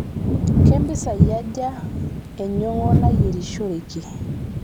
kempisai aja enyongo nayirishoreki